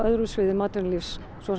atvinnulífs svo sem